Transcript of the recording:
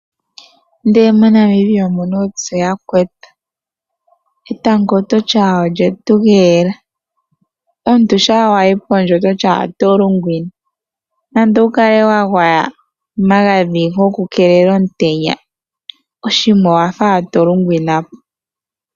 Ndee moNamibia omuna uupya yakwetu, etango ototi ala olye tugeela. Omuntu shaa wayi pondje ototi ala oto lunginwa. Nande wukale wa gwaya omagadhi goku kelela omutenya , oshima owa faala tolungwina po.